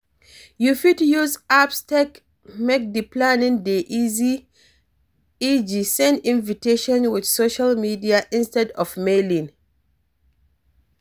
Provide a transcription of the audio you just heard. You fit use apps take make di planning dey easy eg send invitiation with social media instead of Mailing